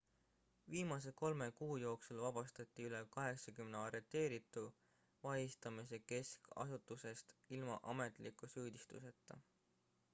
viimase 3 kuu jooksul vabastati üle 80 arreteeritu vahistamise keskasutusest ilma ametliku süüdistuseta